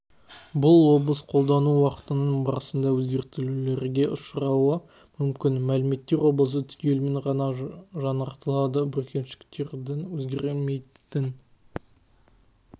бұл облыс қолдану уақытының барысында өзгертулерге ұшырауы мүмкін мәліметтер облысы түгелімен ғана жаңартылады бүркеншіктердің өзгермейтін